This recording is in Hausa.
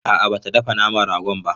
A'a ba ta dafa naman ragon ba.